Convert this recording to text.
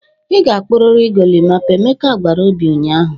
"Ị ga-kpụrịrị golimapa," emeka gwara obi ụnyaahụ.